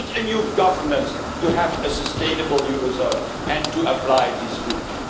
You need a new governance to have a sustainable eurozone and to apply these rules.